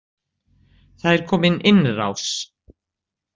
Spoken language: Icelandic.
Það er komin innrás